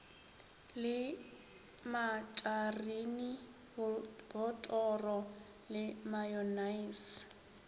le matšarine botoro le mayonnaise